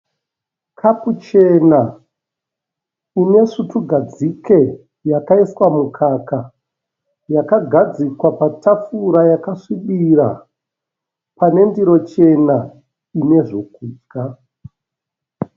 Kapu chena ine svutu gadzike yakaiswa mukaka. Yakagadzikwa patafura yakasvibira pane ndiro chena ine zvekudya.